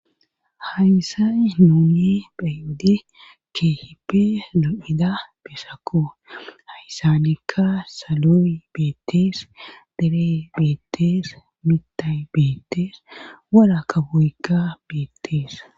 Hayssai nuuni bhayodi keehippe zo''ida beesako haysanekka saloyi beettees dere beettees mita beettees wara ka buykka beettees.